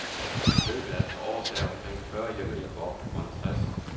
I løbet af et par år sagde omkring fyrre hjemmehjælpere op på grund af stress.